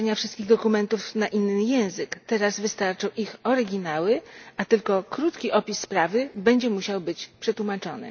tłumaczenia wszystkich dokumentów na inny język teraz wystarczą ich oryginały, a tylko krótki opis sprawy będzie musiał być przetłumaczony.